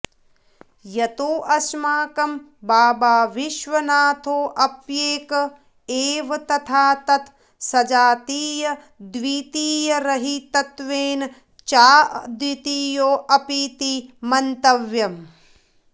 यतोऽस्माकं बाबाविश्वनाथोऽप्येक एव तथा तत् सजातीयद्वितीयरहितत्वेन चाऽद्वितीयोऽपीति मन्तव्यम्